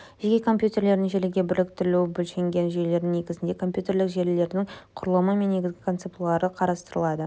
жеке компьютерлердің желіге біріктірілуі бөлшектенген жүйелердің негізінде компьютерлік желілердің құрылымы мен негізгі концепциялары қарастырылады